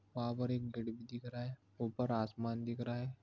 वहाँ पर एक गेट दिख रहा हैं। उपर आसमान दिख रहा हैं।